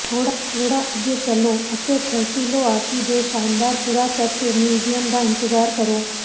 ਥੋੜ੍ਹਾ ਅੱਗੇ ਚੱਲੋ ਅਤੇ ਥੈਸੋਲੀਆਕੀ ਦੇ ਸ਼ਾਨਦਾਰ ਪੁਰਾਤੱਤਵ ਮਿਊਜ਼ੀਅਮ ਦਾ ਇੰਤਜ਼ਾਰ ਕਰੋ